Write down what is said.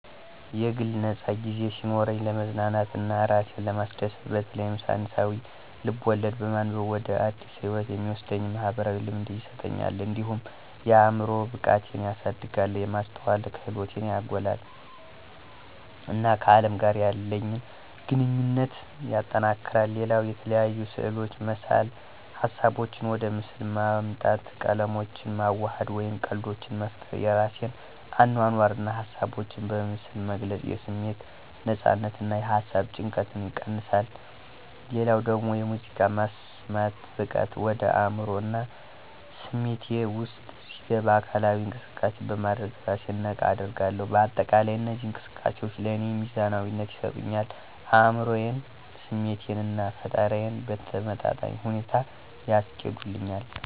የግል ነፃ ጊዜ ሲኖረኝ፣ ለመዝናናት እና እራሴን ለማስደሰት በተለይም ሳይንሳዊ ልብ-ወለድ በማንበብ ወደ አዲስ ህይወት የሚወስደኝ "ማኅበራዊ ልምድ" ይሰጠኛል። እንዲሁም የአዕምሮ ብቃቴን ያሳድጋል፣ የማስተዋል ክህሎቴን ያጎላል፣ እና ከአለም ጋር ያለኝ ግንኙነት ያጠናክራል። ሌላው የተለያዩ ስዕሎችን መሳል ሀሳቦቼን ወደ ምስል ማምጣት፣ ቀለሞችን ማዋሃድ፣ ወይም ቀልዶችን መፍጠር የራሴን አኗኗር እና ሀሳቦች በምስል መግለጽ የስሜት ነፃነትን እና የሃሳብ ጭንቀትን ይቀንሳ። ሌላው ደግሞ ሙዚቃ መስማት በቀጥታ ወደ አዕምሮዬ እና ስሜቴ ውስጥ ሲገባ አካላዊ እንቅሰቃሴ በማድረግ እራሴን ነቃ አደርጋለሁ። በአጠቃላይ እነዚህ እንቅስቃሴዎች ለእኔ ሚዛናዊነትን ይሰጡኛል አዕምሮዬን፣ ስሜቴን እና ፈጠራዬን በተመጣጣኝ ሁኔታ ያስኬዱልኛል።